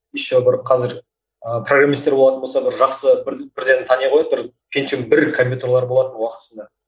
еще бір қазір ыыы программистер болатын болса бір жақсы бір бірден тани қояды бір пентиум бір компьютерлері болатын уақытысында